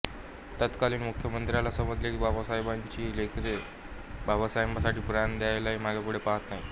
तत्कालीन मुख्यमंत्र्याला समजले की बाबासाहेबांची ही लेकरे बाबासाहेबासाठी प्राण द्यायलाही मागेपुढे पाहात नाहीत